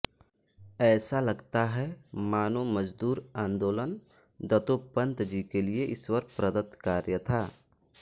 ऐसा लगता है मानो मजदूर आन्दोलन दत्तोपंत जी के लिये ईश्वर प्रदत कार्य था